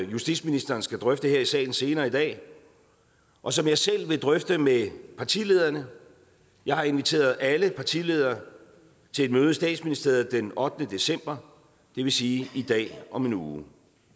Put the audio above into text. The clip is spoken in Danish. justitsministeren skal drøfte her i salen senere i dag og som jeg selv vil drøfte med partilederne jeg har inviteret alle partiledere til et møde i statsministeriet den ottende december det vil sige i dag om en uge